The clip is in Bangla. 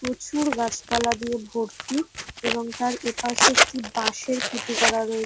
প্রচুর গাছপালা দিয়ে ভর্তি এবং তার এপাশে একটি বাঁশের খুঁটি করা রয়ে --